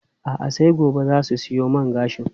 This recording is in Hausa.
A'a, sai gobe za su siyo man gashin.